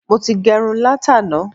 Mo ti gẹrun látàná.